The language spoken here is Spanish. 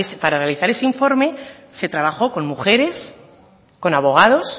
para realizar ese informe se trabajó con mujeres con abogados